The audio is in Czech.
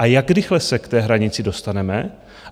A jak rychle se k té hranici dostaneme?